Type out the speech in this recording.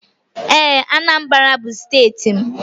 Ee, Anambra bu steeti m.